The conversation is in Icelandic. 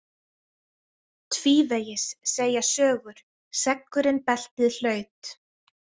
Tvívegis, segja sögur, seggurinn beltið hlaut.